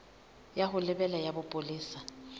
ya ho lebela ya bopolesa